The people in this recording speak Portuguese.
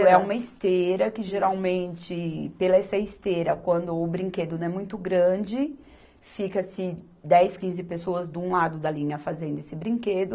Era uma esteira que geralmente, por essa esteira, quando o brinquedo não é muito grande, fica-se dez, quinze pessoas de um lado da linha fazendo esse brinquedo.